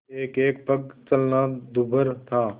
एकएक पग चलना दूभर था